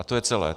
A to je celé.